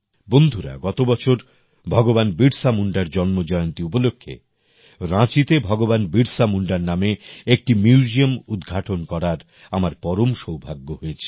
বন্ধুরা গত বছর ভগবান বিরসা মুন্ডার জন্মজয়ন্তী উপলক্ষে রাঁচিতে ভগবান বিরসা মুন্ডার নামে একটি মিউজিয়াম উদঘাটন করার আমার পরম সৌভাগ্য হয়েছিল